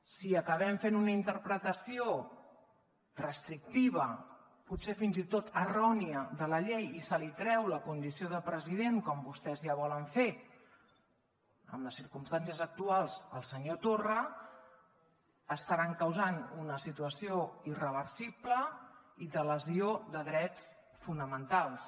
si acabem fent una interpretació restrictiva potser fins i tot errònia de la llei i se li treu la condició de president com vostès ja volen fer en les circumstàncies actuals al senyor torra estaran causant una situació irreversible i de lesió de drets fonamentals